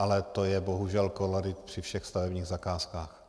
Ale to je bohužel kolorit při všech stavebních zakázkách.